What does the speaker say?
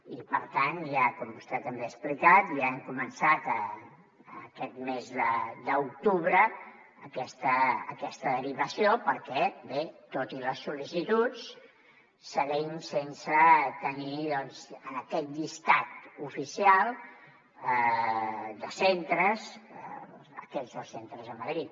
i per tant com vostè també ha explicat ja hem començat aquest mes d’octubre aquesta derivació perquè bé tot i les sollicituds seguim sense tenir en aquest llistat oficial de centres aquests dos centres de madrid